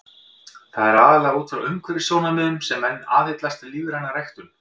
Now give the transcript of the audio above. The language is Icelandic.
Það er aðallega út frá umhverfissjónarmiðum sem menn aðhyllast lífræna ræktun.